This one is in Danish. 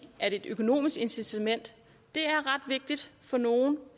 at et økonomisk incitament er ret vigtigt for nogle